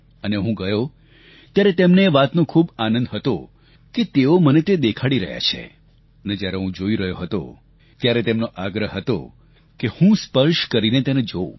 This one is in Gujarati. અને જ્યારે હું જોઈ રહ્યો હતો ત્યારે તેમનો આગ્રહ હતો કે હું સ્પર્શ કરીને જોઉં